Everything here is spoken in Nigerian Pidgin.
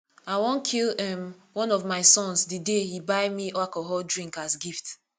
i wan kill um one of my sons the day he buy me alcoholic drink as gift